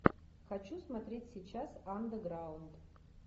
хочу смотреть сейчас андерграунд